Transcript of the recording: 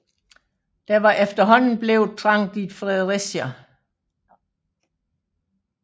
Der var efterhånden blevet trangt i Fredericia